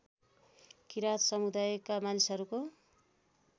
किरात समुदायका मानिसहरूको